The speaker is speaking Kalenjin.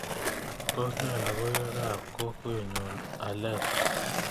Tos ne logoywekab kokwenyu alesa